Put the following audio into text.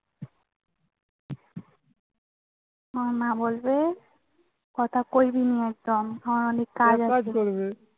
মানে মা বলবে কথা